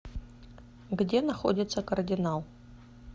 где находится кардинал